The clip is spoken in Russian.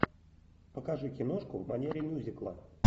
покажи киношку в манере мюзикла